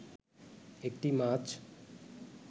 একটি মাছ